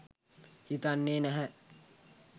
හිතෙන්නේ නැහැ.